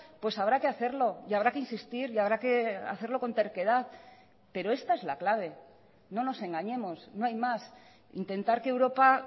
pues habrá que hacerlo y habrá que insistir y habrá que hacerlo con terquedad pero esta es la clave no nos engañemos no hay más intentar que europa